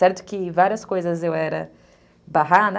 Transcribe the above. Certo que várias coisas eu era barrada.